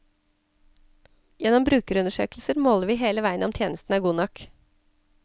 Gjennom brukerundersøkelser måler vi hele veien om tjenesten er god nok.